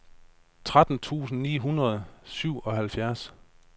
tretten tusind ni hundrede og syvoghalvfjerds